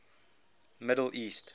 middle east